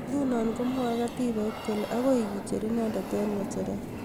Nguno komwoe katibait kole akoi kecher inendet eg ngecheret